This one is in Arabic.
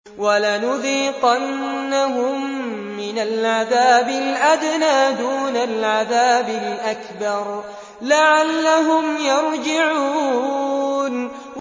وَلَنُذِيقَنَّهُم مِّنَ الْعَذَابِ الْأَدْنَىٰ دُونَ الْعَذَابِ الْأَكْبَرِ لَعَلَّهُمْ يَرْجِعُونَ